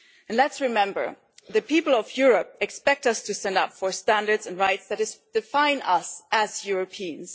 And let us remember that the people of Europe expect us to stand up for the standards and rights that define us as Europeans.